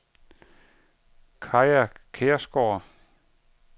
Kaja Kjærsgaard